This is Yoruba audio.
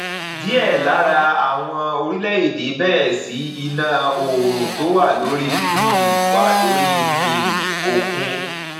diẹ lára àwọn orílẹ èdè bẹrẹ sí iná oòrùn tó wà lórí um wà lórí um òkun